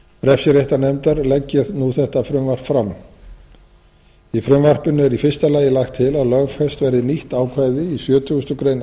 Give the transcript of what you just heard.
refsiréttarnefndar legg ég nú þetta frumvarp fram í frumvarpinu er í fyrsta lagi lagt til að lögfest verði nýtt ákvæði í sjötugasta grein